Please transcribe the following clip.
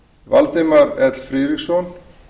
valdimar l friðriksson